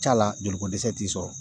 Ca la joli ko dɛsɛ t'u sɔrɔ